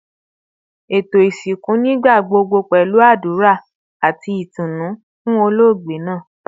Eto isinku nigbagbogbo pẹlu adura ati itunu fun ologbe naa